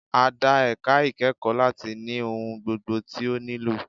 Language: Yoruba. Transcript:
A dá ẹ̀ka ìkẹ́kọ̀ọ́ láti ní ohun gbogbo tí ó nílò.